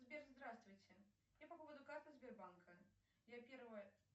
сбер здравствуйте я по поводу карты сбербанка я первая